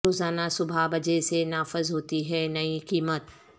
روزانہ صبح بجے سے نافذ ہوتی ہے نئی قیمت